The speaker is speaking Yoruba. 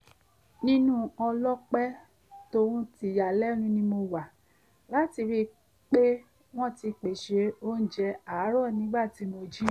ìnú ọlọ́pẹ́ tòhun tìyanu ni mo wà láti ríi pé wọ́n ti pèsè oúnjẹ àárọ̀ nígbà tí mo jí